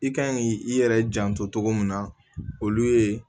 I kan ki i yɛrɛ janto togo min na olu ye